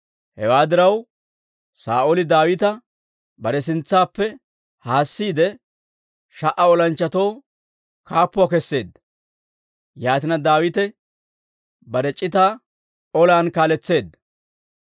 Hewaa diraw, Saa'ooli Daawita bare sintsaappe haassiide, sha"a olanchchatoo kaappuuwaa keseedda. Yaatina, Daawite bare c'itaa olan kaaletseedda.